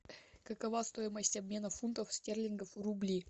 какова стоимость обмена фунтов стерлингов в рубли